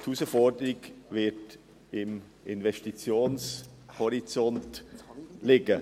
Die Herausforderung wird beim Investitionshorizont liegen.